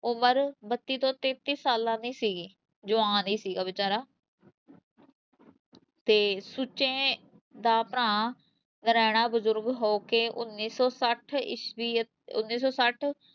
ਉਮਰ ਬੱਤੀ ਤੋਂ ਤੇਤੀਂ ਸਾਲਾਂ ਦੀ ਸੀਗੀ, ਜਵਾਨ ਹੀ ਸੀਗਾ ਬੇਚਾਰਾ ਤੇ ਸੁੱਚੇ ਦਾ ਭਰਾ ਨਰੈਣਾ ਬਜ਼ੁਰਗ ਹੋ ਕੇ ਉੱਨੀ ਸੌ ਛੱਠ ਈਸਵੀ ਉੱਨੀ ਸੌ ਛੱਠ